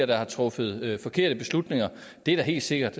der har truffet forkerte beslutninger det er der helt sikkert